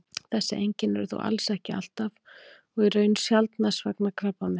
Þessi einkenni eru þó alls ekki alltaf og í raun sjaldnast vegna krabbameins.